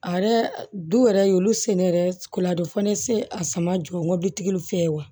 A yɛrɛ du yɛrɛ olu se ne yɛrɛ kola fo ne se a sama jɔ n ka bitigiw fɛ ye wa